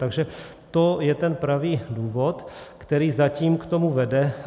Takže to je ten pravý důvod, který zatím k tomu vede.